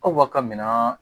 Aw ba ka minan